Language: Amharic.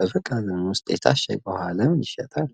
በመጋዘኑ ውስጥ የታሸገ ውሃ ለምን ይሸጣል?